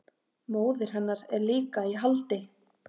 Móðir hennar er líka í haldi